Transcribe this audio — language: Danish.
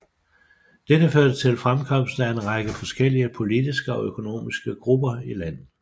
Dette førte til fremkomsten af en række forskellige politiske og økonomiske grupper i landet